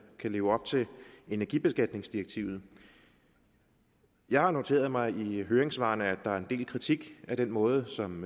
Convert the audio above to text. kan leve op til energibeskatningsdirektivet jeg har noteret mig i høringssvarene at der er en del kritik af den måde som